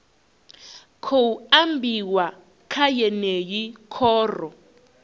khou ambiwa kha yeneyi khoro